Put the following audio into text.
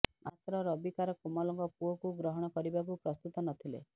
ମାତ୍ର ରବିକାର କୋମଲଙ୍କ ପୁଅକୁ ଗ୍ରହଣ କରିବାକୁ ପ୍ରସ୍ତୁତ ନ ଥିଲେ